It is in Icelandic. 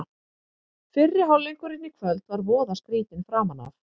Fyrri hálfleikurinn í kvöld var voða skrýtinn framan af.